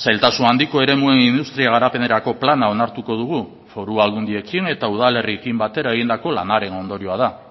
zailtasun handiko eremuen industria garapenerako plana onartuko dugu foru aldundiekin eta udalerriekin batera egindako lanaren ondorioa da